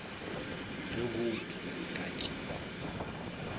ge bouto e ka tšewa